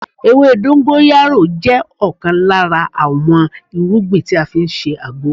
Ewé dongoyaro jẹ́ ọ̀kan lára àwọn irúgbìn tí a fi ń ṣe àgbo